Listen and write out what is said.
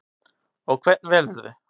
Og hvern velurðu?